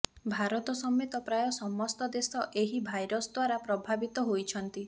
ଭାରତ ସମେତ ପ୍ରାୟ ସମସ୍ତ ଦେଶ ଏହି ଭାଇରସ ଦ୍ୱାରା ପ୍ରଭାବିତ ହୋଇଛନ୍ତି